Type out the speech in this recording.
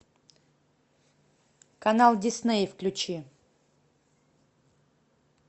канал дисней включи